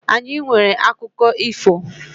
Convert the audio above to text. Anyi nwere akụkụ ifo.